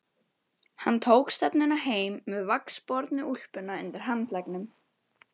Hann tók stefnuna heim með vaxbornu úlpuna undir handleggnum.